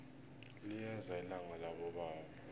liyeza ilanga labobaba